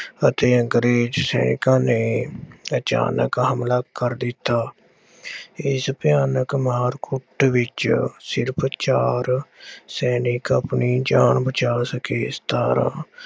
ਅਤੇ ਅੰਗਰੇਜ਼ ਸੈਨਿਕਾਂ ਨੇ ਅਚਾਨਕ ਹਮਲਾ ਕਰ ਦਿੱਤਾ। ਇਸ ਭਿਆਨਕ ਮਾਰ ਕੁੱਟ ਵਿੱਚ ਸਿਰਫ ਚਾਰ ਸੈਨਿਕ ਆਪਣੀ ਜਾਨ ਬਚਾ ਸਕੇ। ਇਸ ਤਰ੍ਹਾਂ